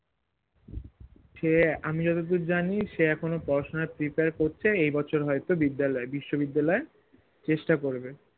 সে আমি যতদূর জানি সে এখনো পড়াশোনায় prepare করছে এই বছর হয়তো বিদ্যালয়ে বিশ্ববিদ্যালয়ে চেষ্টা করবে